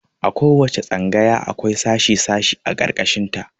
A ko wace tsangaya akwai sashi sashi a ƙarƙashin ta.